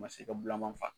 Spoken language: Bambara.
Ma se ka bulaman faa